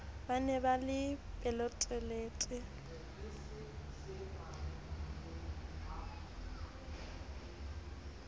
ba ne ba le pelotelele